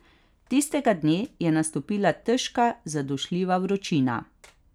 Tistega dne je nastopila težka zadušljiva vročina.